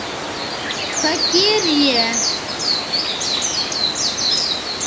Hvað geri ég?